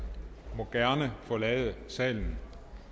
må gerne forlade salen